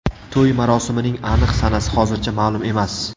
To‘y marosimining aniq sanasi hozircha ma’lum emas.